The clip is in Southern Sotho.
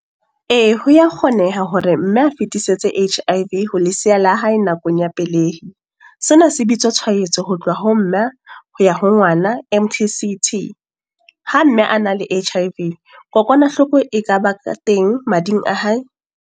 Ee, ho ya kgoneya hore mme a fitisetse H_I_V ho lesiya la hae, nakong ya pelehi. Sena se bitswa tshwaetso ho tloha ho mme, ho ya ho ngwana M_T_C_T. Ha mme a na le H_I_V, kokwanahloko e ka ba ka teng mading a hae.